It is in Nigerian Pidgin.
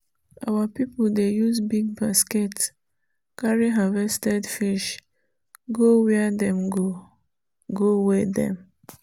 our people dey use big basket carry harvested fish go where dem go go weigh them